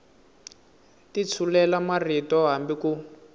ti tshulela marito hambi ku